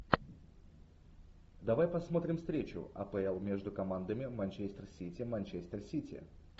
давай посмотрим встречу апл между командами манчестер сити манчестер сити